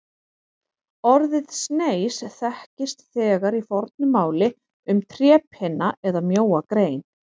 Orðið sneis þekkist þegar í fornu máli um trépinna eða mjóa grein.